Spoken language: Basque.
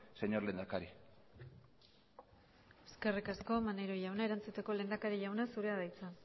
señor lehendakari eskerrik asko maneiro jauna erantzuteko lehendakari jauna zurea da hitza